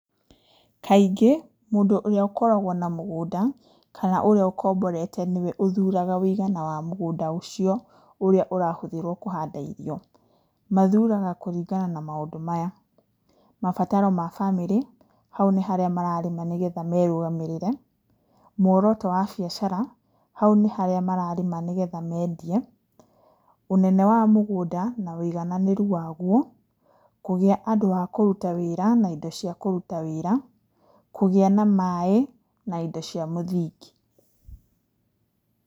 Kaingĩ mũndũ ũrĩa ũkoragwo na mũgũnda kana ũrĩa ũkomborete nĩwe ũthuraga wũigana wa mũgũnda ũcio ũrahũthĩrwo kũhanda irio. Mathuraga kũringana na maũndũ maya: mabataro ma bamĩrĩ hau nĩ harĩa mararĩma nĩgetha merũgamĩrĩre, muoroto wa biacara hau nĩ harĩa mararĩma nĩgetha mendie, ũnene wa mũgũnda na wũigananĩru waguo, kũgĩa andũ a kũruta wĩra na indo cia kũruta wĩra, kũgĩa na maaĩ na kũgĩa na indo cia mũthingi.